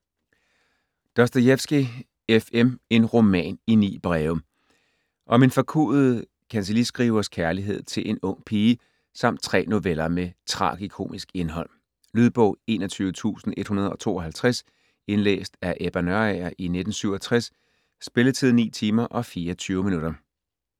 Dostojevskij, F. M.: En roman i 9 breve Om en forkuet kancelliskrivers kærlighed til en ung pige samt tre noveller med tragikomisk indhold. Lydbog 21152 Indlæst af Ebba Nørager, 1967. Spilletid: 9 timer, 24 minutter.